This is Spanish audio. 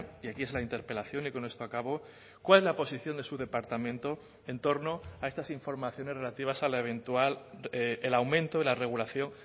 y aquí es la interpelación y con esto acabo cuál es la posición de su departamento entorno a estas informaciones relativas a la eventual el aumento de la regulación